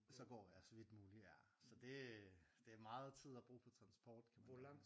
Så går jeg så vidt muligt ja så det det meget tid at bruge på transport kan man